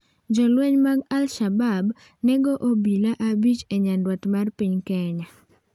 Jolweny mag al-shabab nego obila abich e nyandwat mar piny Kenya